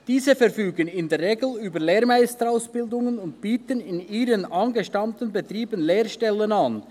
Diese verfügen in der Regel über eine Lehrmeisterausbildung und bieten in ihren angestammten Betrieben Lehrstellen an.